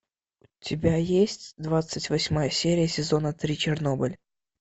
у тебя есть двадцать восьмая серия сезона три чернобыль